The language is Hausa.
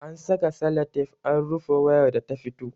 An saka salatif an rufe wayar da ta fito